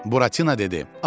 Buratino dedi.